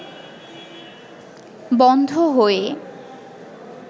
বন্ধ হয়ে